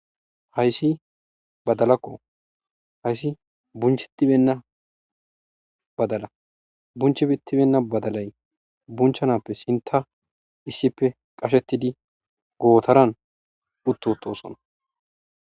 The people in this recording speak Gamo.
Hayssi badalakko hayssi bunchetibenna badala bunchebittibenna badalay bunchanappe sinta issippe qashettidi gootaran uttotosona.